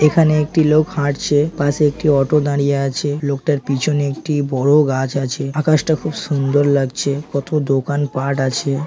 এখানে একটি লোক হাঁটছে পাশে একটি অটো দাঁড়িয়ে আছে লোকটার পিছনে একটি বড় গাছ আছে আকাশটা খুব সুন্দর লাগছে কত দোকানপাট আছে।